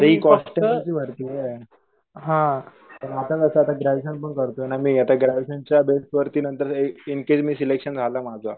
आता हि भरती पण आता कस आता ग्रॅजुएशनपण करतोय ना मी आता ग्रॅजुएशन च्या बेसवरती नंतर सिलेक्शन झालं माझं